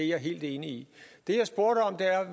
jeg helt enig i det